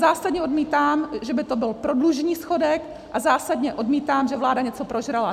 Zásadně odmítám, že by to byl prodlužní schodek, a zásadně odmítám, že vláda něco prožrala.